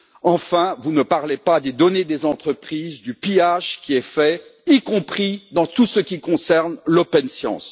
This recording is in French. Enfin, vous ne parlez pas des données des entreprises, du pillage qui est fait, y compris dans tout ce qui concerne l' open science.